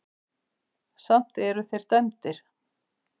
Samt eru þeir dæmdir.